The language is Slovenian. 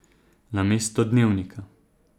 Namesto dnevnika.